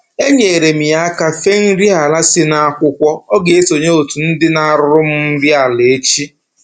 Enyeere m ya aka fee nri ala si n'akwụkwọ, ọ ga-esonye otu ndị na-arụrụ m nri ala echi